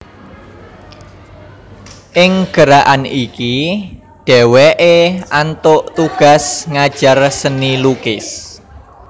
Ing gerakan iki dhèwèké antuk tugas ngajar seni lukis